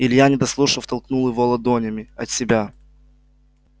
илья не дослушав толкнул его ладонями от себя